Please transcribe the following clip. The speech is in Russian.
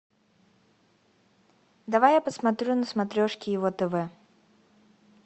давай я посмотрю на смотрешке его тв